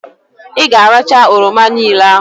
Ị ga-arachaa oroma niile ahụ!